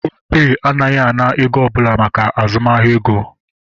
Opay anaghị ana ego ọbụla maka azụmahịa ego